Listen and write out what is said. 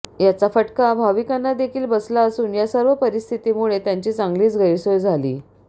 याचा फटका भाविकांनादेखील बसला असून या सर्व परिस्थितीमुळे त्यांची चांगलीच गैरसोय झाली